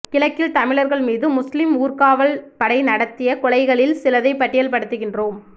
கிழக்கில் தமிழர்கள் மீது முஸ்லீம் ஊர்காவல் படை நடாத்திய கொலைகளில் சிலதை பட்டியல் படுத்துகின்றோம்